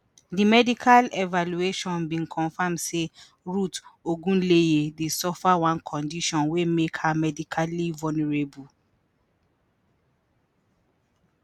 “di medical evaluation bin confam say ruth ogunleye dey suffer one condition wey make her medically vulnerable.”